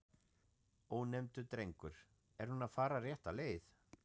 Ónefndur drengur: Er hún að fara rétta leið?